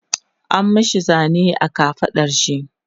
an mashi Zane a kafaɗar shi